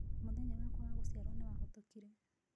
Mũthenya wakwa wa gũciarũo nĩ wahĩtũkire.